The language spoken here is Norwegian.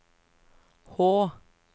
H